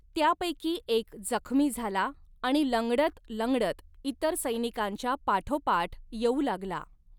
त्यांपैकीं एक जखमी झाला आणि लंगडत लंगडत इतर सैनिकांच्या पाठोपाठ येऊ लागला.